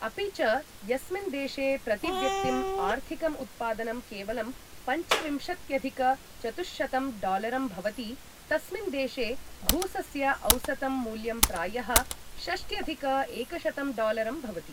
अपि च, यस्मिन् देशे प्रतिव्यक्तिं आर्थिकं उत्पादनं केवलं पञ्चविंशत्यधिक चतुःशतं डॉलरं भवति, तस्मिन् देशे घूसस्य औसतं मूल्यं प्रायः षष्ट्यधिक एकशतं डॉलरं भवति ।